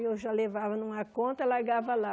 Eu já levava numa conta e largava lá.